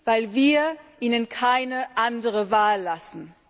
Weil wir ihnen keine andere Wahl lassen.